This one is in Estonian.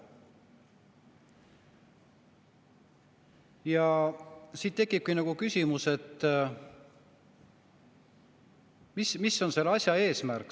Ja siit tekibki küsimus, mis on selle asja eesmärk.